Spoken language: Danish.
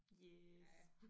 Yes